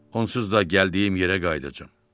Onsuz da gəldiyim yerə qayıdacam.